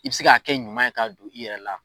I be se k'a kɛ ɲuman ye ka don i yɛrɛ la